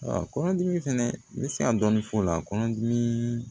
Kɔnɔdimi fɛnɛ n bɛ se ka dɔɔnin fɔ o la kɔnɔdimi